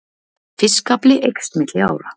Fiskafli eykst milli ára